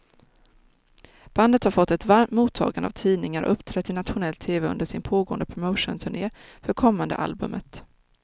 Bandet har fått ett varmt mottagande av tidningar och uppträtt i nationell tv under sin pågående promotionturné för kommande albumet.